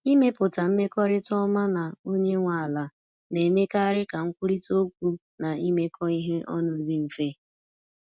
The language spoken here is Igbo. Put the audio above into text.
Ịmepụta mmekọrịta ọma na onye nwe ala na-emekarị ka nkwurịta okwu na imekọ ihe ọnụ dị mfe.